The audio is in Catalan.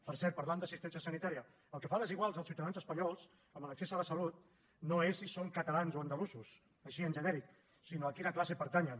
per cert parlant d’assistència sanitària el que fa desiguals els ciutadans espanyols en l’accés a la salut no és si són catalans o andalusos així en genèric sinó a quina classe pertanyen